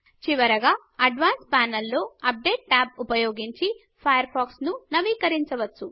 చివరగా అడ్వాన్సెడ్ ప్యానెల్లో update tab ఉపయోగించి ఫాయర్ ఫాక్స్ నవీకరించవచ్చు